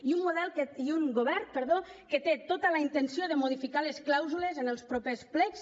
i un govern que té tota la intenció de modificar les clàusules en els propers plecs